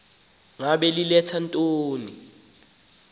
ngaba lithetha ntoni